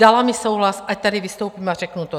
Dala mi souhlas, ať tady vystoupím a řeknu to.